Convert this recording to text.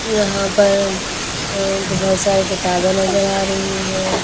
यहाँ पर अ बहुत सारी किताबें नजर आ रही हैं।